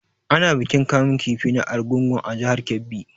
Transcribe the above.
Ana bikin kamun kifi na argungu a jihar Kebbi.